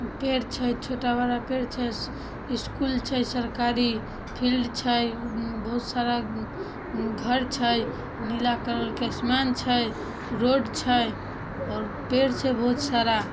पेड़ छै छोटा-बड़ा पेड़ छै। स्कूल छै सरकारी फील्ड छै उ बहुत सारा उ ऊ घर छै। नीला कलर के आसमान छै रोड छै और पेड़ छै बोहत सारा।